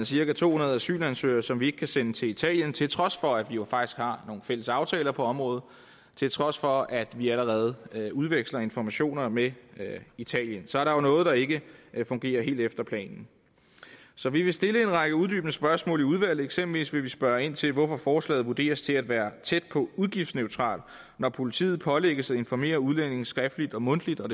cirka to hundrede asylansøgere som vi ikke kan sende til italien til trods for at vi jo faktisk har nogle fælles aftaler på området og til trods for at vi allerede udveksler informationer med italien så der er jo noget der ikke fungerer helt efter planen så vi vil stille en række uddybende spørgsmål i udvalget eksempelvis vil vi spørge ind til hvorfor forslaget vurderes til at være tæt på udgiftsneutralt når politiet pålægges at informere udlændinge skriftligt og mundtligt og